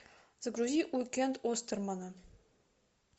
загрузи уикенд остермана